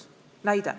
Toon näite.